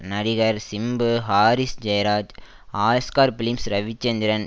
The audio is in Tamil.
நடிகர் சிம்பு ஹாரிஸ் ஜெயராஜ் ஆஸ்கார் பிலிம்ஸ் ரவிச்சந்திரன்